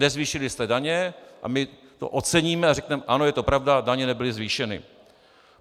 Nezvýšili jste daně a my to oceníme a řekneme: ano, je to pravda, daně nebyly zvýšeny.